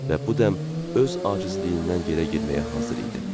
Və bu dəm öz acizliyindən yerə girməyə hazır idi.